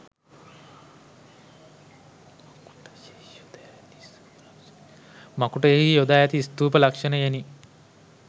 මකූටයෙහි යොදා ඇති ස්තූප ලක්‍ෂණයෙනි.